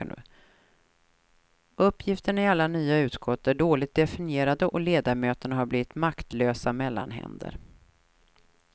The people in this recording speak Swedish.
Uppgifterna i alla nya utskott är dåligt definierade och ledamöterna har blivit maktlösa mellanhänder.